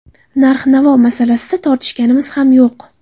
Narx-navo masalasida tortishganimiz ham yo‘q.